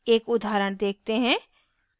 एक उदाहरण देखते हैं